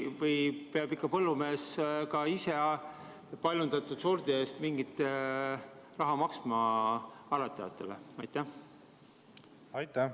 Või peab põllumees ikka ise ka paljundatud sordi eest aretajatele mingi raha maksma?